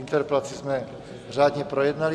Interpelaci jsme řádně projednali.